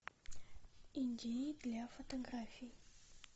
идеи для фотографий